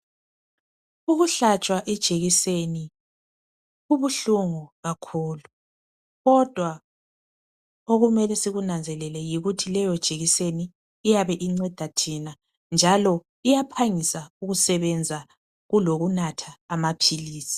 Ukuhlatshwa ijekiseni kubuhlungu kakhulu kodwa okumele sikunanzelele yikuthi leyo jekiseni iyabe inceda thina njalo iyaphangisa ukusebenza kulokunatha amaphilisi.